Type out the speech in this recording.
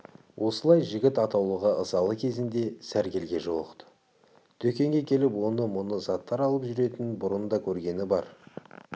осылай жігіт атаулыға ызалы кезінде сәргелге жолықты дүкенге келіп оны-мұны заттар алып жүретінін бұрын да көргені бар